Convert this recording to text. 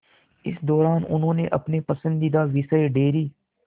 इस दौरान उन्होंने अपने पसंदीदा विषय डेयरी